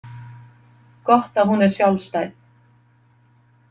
Gott að hún er sjálfstæð.